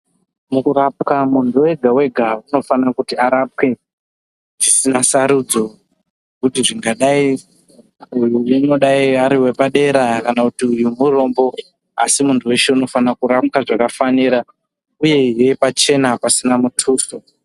Mukurapwa muntu wega-wega unofana kuti arapwe dzisina sarudzo kuti zvingadai, uyu unodai ari wepadera kana kuti uyu murombo, Asi muntu weshe unofana kurapwa zvakafanira, uyehe pachena pasina mutuso.